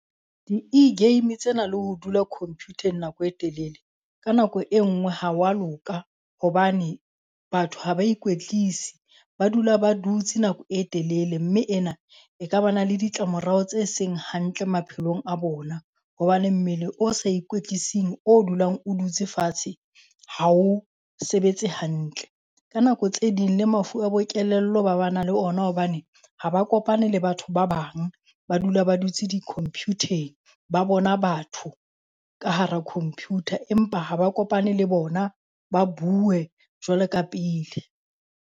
Di e-game tsena le ho dula computer-eng nako e telele ka nako e ngwe ha wa loka hobane. Batho ha ba ikwetlisi ba dula ba dutse nako e telele mme ena ekaba na le ditlamorao tse seng hantle maphelong a bona. Hobane mmele o sa ikwetlising o dulang o dutse fatshe ha o sebetse hantle. Ka nako tse ding le mafu a bo kelello ba ba na le ona hobane ha ba kopane le batho ba bang. Ba dula ba dutse di-computer-eng, ba bona batho ka hara computer empa ha ba kopane le bona, ba bue jwale ka pele.